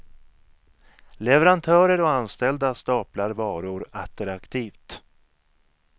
Leverantörer och anställda staplar varor attraktivt.